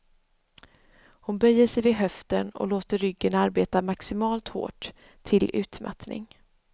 Hon böjer sig vid höften och låter ryggen arbeta maximalt hårt, till utmattning.